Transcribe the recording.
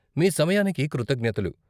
మీ సమయానికి కృతజ్ఞతలు!